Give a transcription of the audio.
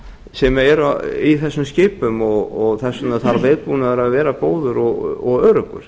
sem eru í þessum skipum og þess vegna þarf viðbúnaður að vera góður og öruggur